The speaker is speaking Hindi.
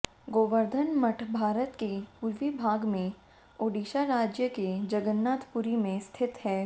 गोवर्धन मठ भारत के पूर्वी भाग में ओडिशा राज्य के जगन्नाथ पुरी में स्थित है